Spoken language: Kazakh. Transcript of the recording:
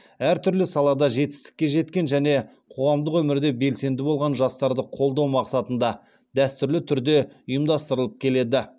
әртүрлі салада жетістікке жеткен және қоғамдық өмірде белсенді болған жастарды қолдау мақсатында дәстүрлі түрде ұйымдастырылып келеді